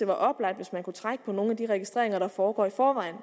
være oplagt at trække på nogle af de registreringer der foregår i forvejen